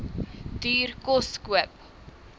duur kos koop